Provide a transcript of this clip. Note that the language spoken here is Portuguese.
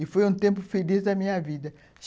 E foi um tempo feliz da minha vida.